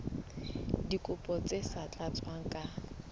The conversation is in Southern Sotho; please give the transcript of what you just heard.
dikopo tse sa tlatswang ka